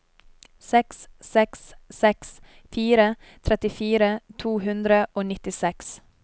seks seks seks fire trettifire to hundre og nittiseks